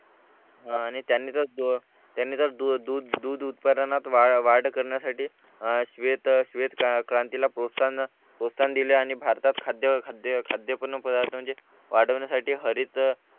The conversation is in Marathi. आणि त्यांनी अह त्यांनी दूध दूध उत्पादनात वाढ करण्यासाठी अह श्वेत श्वेतक्रांती ला प्रोत्साहन प्रोत्साहन दिले आणि भारतात खाद्य खाद्य पूर्ण पदार्थ म्हणजे वाढवण्यासाठी हरित अह